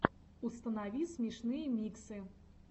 установи смешные миксы